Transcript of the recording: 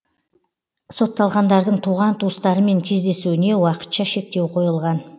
сотталғандардың туған туыстарымен кездесуіне уақытша шектеу қойылған